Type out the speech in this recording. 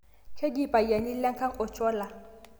Keji lpayian lenkang Ocholla